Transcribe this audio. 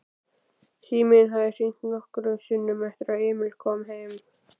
Síminn hafði hringt nokkrum sinnum eftir að Emil kom heim.